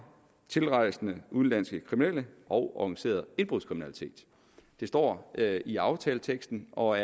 tilrejsende udenlandske kriminelle og organiseret indbrudskriminalitet det står i aftaleteksten og